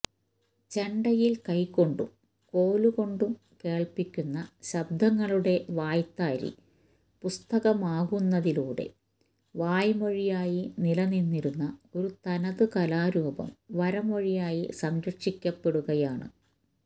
ചെണ്ടയില് കൈകൊണ്ടും കോലുകൊണ്ടും കേള്പ്പിക്കുന്ന ശബ്ദങ്ങളുടെ വായ്ത്താരി പുസ്തകമാവുന്നതിലൂടെ വാമൊഴിയായി നിലനിന്നിരുന്ന ഒരു തനതു കലാരൂപം വരമൊഴിയായി സംരക്ഷിക്കപ്പെടുകയാണ്